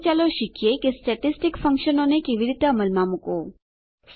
હવે ચાલો શીખીએ કે સ્ટેટીસ્ટીક ફંકશનોને કેવી રીતે અમલમાં મુકવું